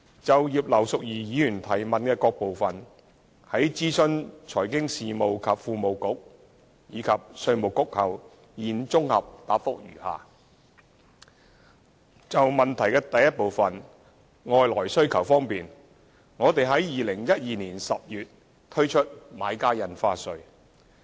就葉劉淑儀議員質詢的各部分，在諮詢財經事務及庫務局和稅務局後，現綜合答覆如下：一外來需求方面，我們在2012年10月推出買家印花稅。